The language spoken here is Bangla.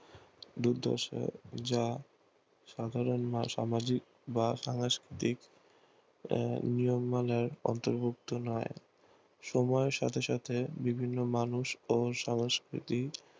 দুর্দশা যা সাধারণ সামাজিক বা সাংকৃতিক আহ নিয়ম মালার অন্তর্ভুক্ত নয় সময়ের সাথে সাথে বিভিন্ন মানুষ ও সাংকৃতিক